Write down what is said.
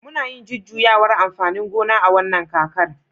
muna yin jujjuyawar amfanin gona a wannan kakar